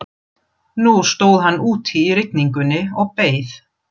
Nú stóð hann úti í rigningunni og beið.